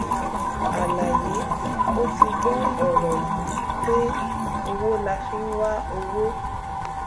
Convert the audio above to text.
àlàyé ó ti gbọ ọrọ yìí pé owó la fi ń wá owó